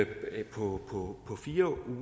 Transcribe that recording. på fire